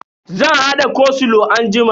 Zan hada koslow anjima.